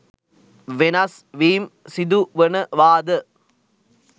වෙනස්වීම් සිදුවනවාද?